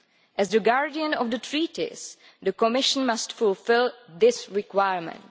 As the guardian of the Treaties, the Commission must fulfil this requirement.